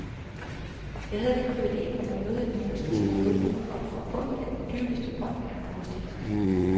Jeg havde det privilegium at møde et menneske, som har hjulpet mig op fra bunden af den dybeste brønd man kan forestille sig.